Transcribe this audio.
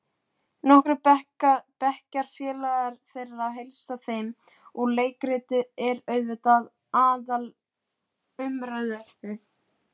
Svartar verur nálguðust í mistrinu, hægt og ógnvekjandi.